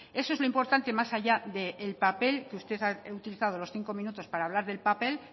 eso es lo importante más allá del papel usted ha utilizado los cinco minutos para hablar del papel